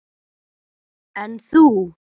En þú?